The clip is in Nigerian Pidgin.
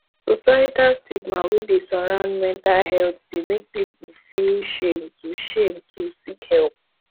societal stigma wey dey surround metal health dey make people feel shame to shame to seek help